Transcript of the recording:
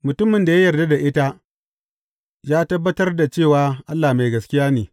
Mutumin da ya yarda da ita ya tabbatar da cewa Allah mai gaskiya ne.